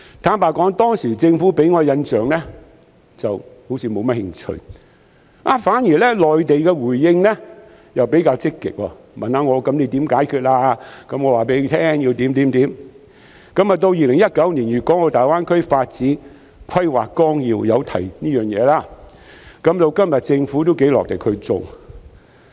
坦白說，當時政府給我的印象好像是沒有太大興趣，反而是內地的回應比較積極，問我可以怎樣解決某些問題，我便告訴他們應該怎樣做；直到2019年的《粵港澳大灣區發展規劃綱要》提到這件事，政府今天亦頗努力去做。